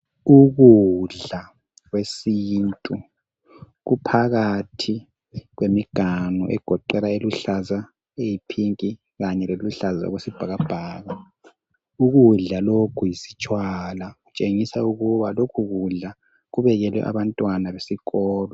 Ukudla kwesintu kuphakathi kwemiganu, egoqela eluhlaza, eyiphinki kanye leluhlaza okwesibhakabhaka. Ukudla lokhu yisitshwala, kutshengisa ukuthi lokhu kudla kubekelwe abantwana besikolo.